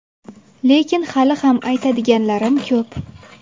Lekin hali ham aytadiganlarim ko‘p.